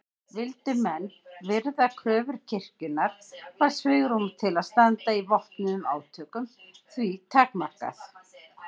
Vildu menn virða kröfur kirkjunnar var svigrúm til að standa í vopnuðum átökum því takmarkað.